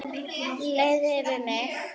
Leið yfir mig?